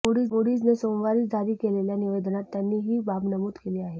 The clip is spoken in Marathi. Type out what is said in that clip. मूडीजने सोमवारी जारी केलेल्या निवेदनात त्यांनी ही बाब नमूद केली आहे